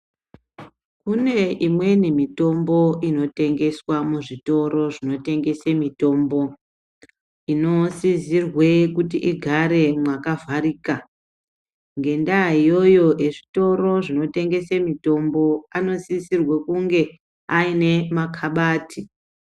Kune imweni mitombo inotengeswa muzvitoro zvinotengese mitombo inosisire kuti igare mwakavharika, ngendaa iyoyo ezvitoro zvinotengese mitombo anosisirwe kunge ane makabati.